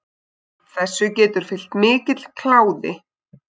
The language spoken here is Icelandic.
Þessu getur fylgt mikill kláði.